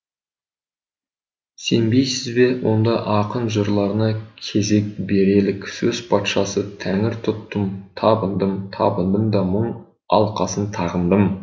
сенбейсіз бе онда ақын жырларына кезек берелік сөз патшасы тәңір тұттым табындым табындым да мұң алқасын тағындым